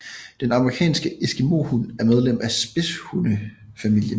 Den amerikanske eskimohund er medlem af spidshunde familien